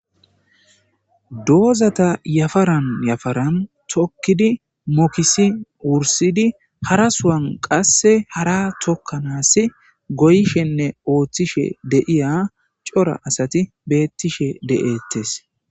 doozata yafaran yafaran tokkidi mokisi wursidi harasuwan qasse hara tokkanaas goyishenne ooththishe deiya cora asati beettishe de7eettes